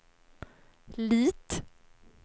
Lit